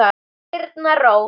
Þín Birna Rós.